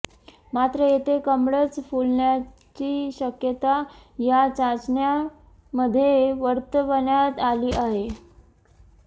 मात्र येथे कमळच फुलण्याची शक्यता या चाचण्यांमध्ये वर्तवण्यात आली आहे